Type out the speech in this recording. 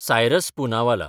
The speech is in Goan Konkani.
सायरस पुनावाला